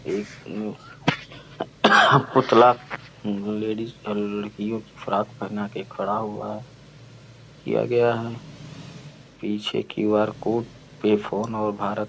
एक पुतला लेडीज लड़कियों की फ्रॉक पहिना के खड़ा हुआ है किया गया है। पीछे क्यूआर कोड पे फ़ोन और भारत --